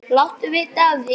Láttu vita af því.